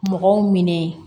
Mɔgɔw minɛ